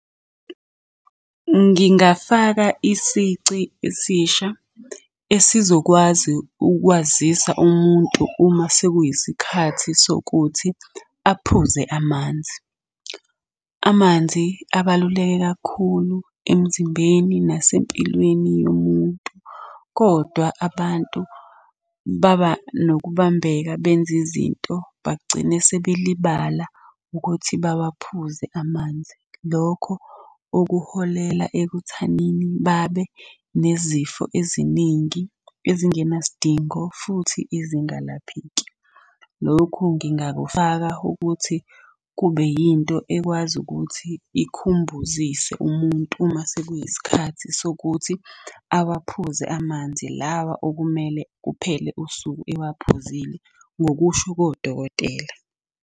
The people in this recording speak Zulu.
Ngingafaka isici esisha esizokwazi ukwazisa umuntu uma sekuyisikhathi sokuthi aphuze amanzi. Amanzi abaluleke kakhulu emzimbeni nasempilweni yomuntu, kodwa abantu baba nokubambeka benze izinto bagcine sebelibala ukuthi bawaphuze amanzi. Lokho okuholela ekuthanini babe nezifo eziningi ezingenasidingo futhi ezingalapheki. Lokhu ngingakufaka ukuthi kube yinto ekwazi ukuthi ikhumbuzise umuntu uma sekuyisikhathi sokuthi awaphuze amanzi lawa okumele kuphele usuku ewaphuzile ngokusho kodokotela.